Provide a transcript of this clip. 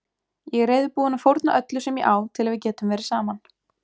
Ég er reiðubúinn að fórna öllu sem ég á til að við getum verið saman.